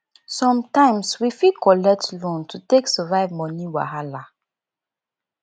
sometimes we fit collect loan to take survive money wahala